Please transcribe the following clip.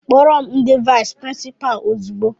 Kpọrọ m ndị vais prinsipa ozigbo!!!